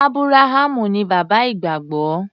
Ábúráhámù ní bàbá ìgbàgbọ́.